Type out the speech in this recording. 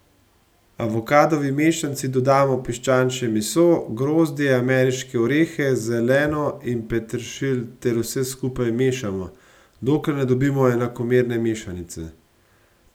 Avokadovi mešanici dodamo piščančje meso, grozdje, ameriške orehe, zeleno in peteršilj ter vse skupaj mešamo, dokler ne dobimo enakomerne mešanice.